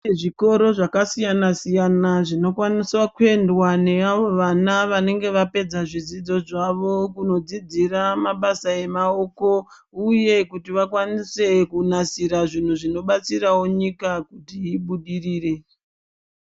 Zvikoro zvakasiyana siyana zvinokwanisa kuendwa neavo vana vanenge vapedza zvidzidzo zvavo kunodzidzira mabasa emaoko uye kuti vakwanise kunasira zvinhu zvinobatsirawo nyika kuti ibudirire